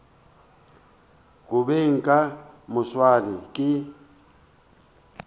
go beng ka moswane ke